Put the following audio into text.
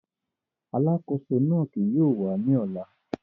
Alakoso náa kii yóò wa ni ọla.